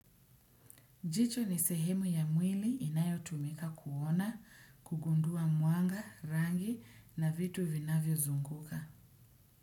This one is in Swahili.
Jicho ni sehemu ya mwili inayo tumika kuona, kugundua mwanga, rangi na vitu vinavyozunguka.